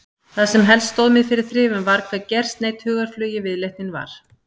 Það sem helst stóð mér fyrir þrifum var hve gersneydd hugarflugi viðleitnin var.